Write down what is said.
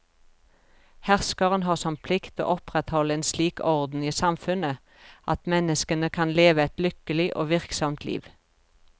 Herskeren har som plikt å opprettholde en slik orden i samfunnet at menneskene kan leve et lykkelig og virksomt liv.